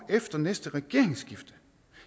efter næste regeringsskifte